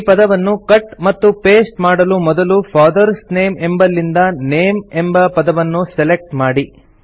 ಈ ಪದವನ್ನು ಕಟ್ ಮತ್ತು ಪಾಸ್ಟೆ ಮಾಡಲು ಮೊದಲು ಫಾದರ್ಸ್ ನೇಮ್ ಎಂಬಲ್ಲಿಂದ ನೇಮ್ ಎಂಬ ಪದವನ್ನು ಸೆಲೆಕ್ಟ್ ಮಾಡಿ